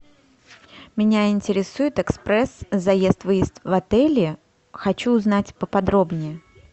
меня интересует экспресс заезд выезд в отеле хочу узнать поподробнее